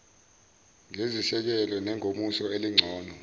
ngezisekelo zengomuso elingcono